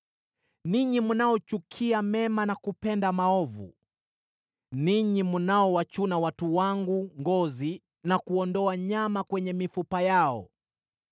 ninyi mnaochukia mema na kupenda maovu; ninyi mnaowachuna watu wangu ngozi na kuondoa nyama kwenye mifupa yao;